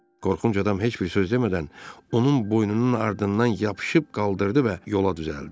Qorxunc adam heç bir söz demədən onun boynunun ardından yapışıb qaldırdı və yola düzəldi.